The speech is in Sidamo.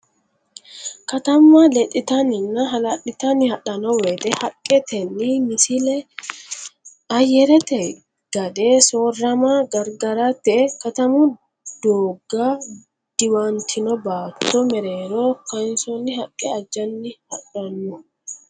Katamma lexxitanninna hala litanni hadhanno woyte haqqetenni Misile Ayyarete gade soorrama gargarate katamu doogga diwantino baatto mereero kaansoonni haqqe ajjanni hadhanno.